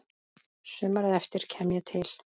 Sumarið eftir kem ég til